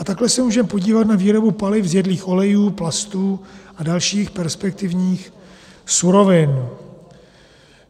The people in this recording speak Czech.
A takhle se můžeme podívat na výrobu paliv z jedlých olejů, plastů a dalších perspektivních surovin.